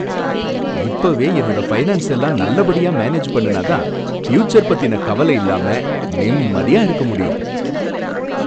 இப்பவே என்னோட ஃபைனான்ஸ எல்லாம் நல்லபடியா மேனேஜ் பண்ணுனா தான் ஃப்யூச்சர் பத்தின கவல இல்லாம நிம்மதியா இருக்க முடியும்